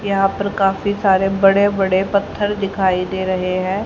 यहां पर काफी सारे बड़े बड़े पत्थर दिखाई दे रहे हैं।